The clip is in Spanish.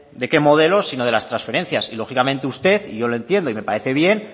de qué modelo sino de las transferencia y lógicamente usted y yo lo entiendo y me parece bien